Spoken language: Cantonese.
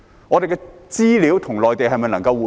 我們的資料與內地能否互通？